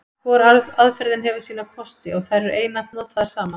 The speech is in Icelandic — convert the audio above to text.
Hvor aðferðin hefur sína kosti, og eru þær einatt notaðar saman.